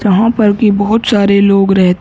वहाँ पर भी बहुत सारे लोग रह --